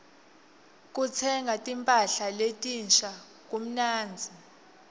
kutsenga timpahla letinsha kumnandzi